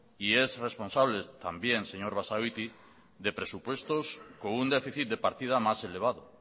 y es responsable también señor basagoiti de presupuestos con un déficit de partida más elevado